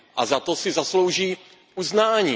A za to si zaslouží uznání.